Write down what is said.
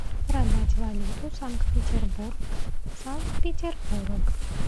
продать валюту санкт петербург санкт петербург